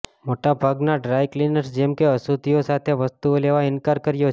મોટા ભાગના dry cleaners જેમ અશુદ્ધિઓ સાથે વસ્તુઓ લેવા ઇનકાર કર્યો છે